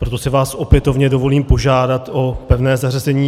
Proto si vás opětovně dovolím požádat o pevné zařazení.